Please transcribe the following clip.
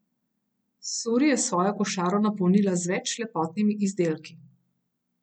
Suri je svojo košaro napolnila z več lepotnimi izdelki.